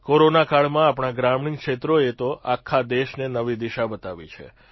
કોરોનાકાળમાં આપણા ગ્રામીણ ક્ષેત્રોએ તો આખા દેશને નવી દિશા બતાવી છે